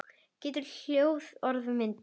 Getur hljóð orðið að mynd?